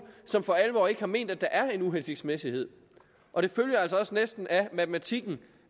som for alvor ikke har ment at der er en uhensigtsmæssighed og det følger altså også næsten af matematikken